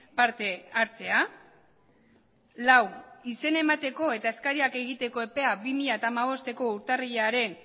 parte hartzea lau izena emateko eta eskariak egiteko epea bi mila hamabostko urtarrilaren